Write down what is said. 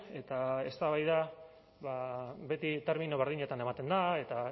eta eztabaida beti termino berdinetan ematen da eta